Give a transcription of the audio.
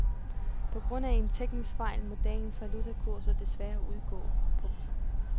På grund af en teknisk fejl må dagens valutakurser desværre udgå. punktum